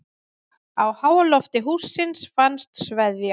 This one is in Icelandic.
Á háalofti hússins fannst sveðja.